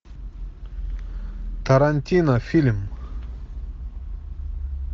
тарантино фильм